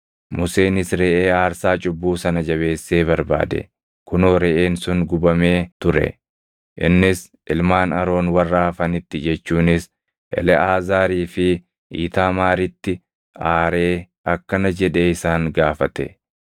Museenis reʼee aarsaa cubbuu sana jabeessee barbaade; kunoo reʼeen sun gubamee ture; innis ilmaan Aroon warra hafanitti jechuunis Eleʼaazaarii fi Iitaamaaritti aaree akkana jedhee isaan gaafate;